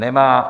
Nemá.